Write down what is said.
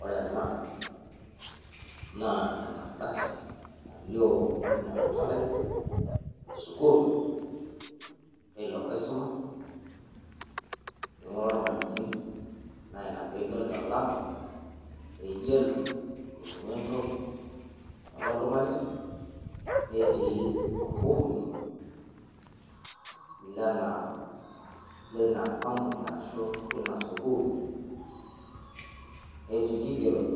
ore ena naa enkardasi nalioo anaa empalai esulkuul eilo oisuma. eingura ormalimui, naa ina pee idol olama le yellow oigero oltungani, netii oluhuri leina ampuni ashu leina sukuul. netii irkigerot